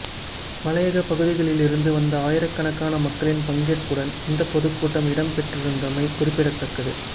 மலையக பகுதிகளிலிருந்து வந்த ஆயிரக்கணக்கான மக்களின் பங்கேற்புடன் இந்த பொதுக்கூட்டம் இடம்பெற்றிருந்தமை குறிப்பிடதக்கது